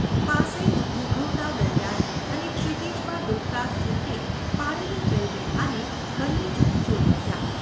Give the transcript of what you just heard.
પાસે જ ઘૂઘવતા દરિયાએ અને ક્ષિતિજમાં ડૂબતા સૂર્યે પાડેલી જલરેખાને બન્ને જણ જોઈ રહ્યાં.